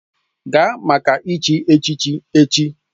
Gaa maka ịchi echichi echi!